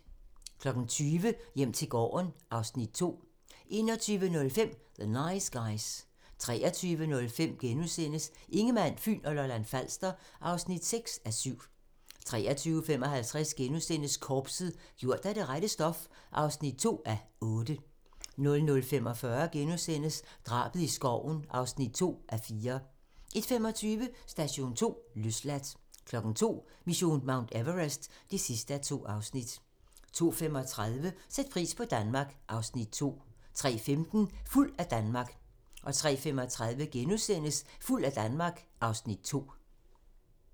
20:00: Hjem til gården (Afs. 2) 21:05: The Nice Guys 23:05: Ingemann, Fyn og Lolland-Falster (6:7)* 23:55: Korpset - gjort af det rette stof (2:8)* 00:45: Drabet i skoven (2:4)* 01:25: Station 2: Løsladt 02:00: Mission Mount Everest (2:2) 02:35: Sæt pris på Danmark (Afs. 2) 03:15: Fuld af Danmark 03:35: Fuld af Danmark (Afs. 2)*